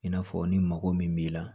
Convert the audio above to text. I n'a fɔ ni mago min b'i la